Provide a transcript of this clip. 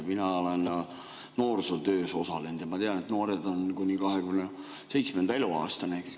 Mina olen noorsootöös osalenud ja ma tean, et noor ollakse kuni 27. eluaastani.